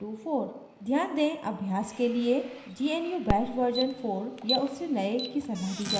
ध्यान दें अभ्यास के लिए gnu bash version 4 या उससे नए की सलाह दी जाती है